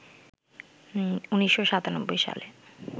১৯৯৭ সালে